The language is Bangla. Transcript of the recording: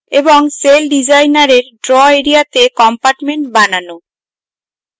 এবং celldesigner এর draw এরিয়াতে compartment বানানো